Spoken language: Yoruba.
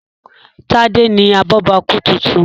Tade ní abobaku títún.